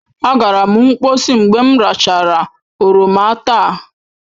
Agara m mkposi mgbe m rachara oroma taa.